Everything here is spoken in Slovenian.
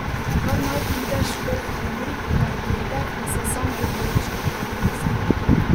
Kar naj pride škof Henrik na oglede in se sam odloči, je pomislil.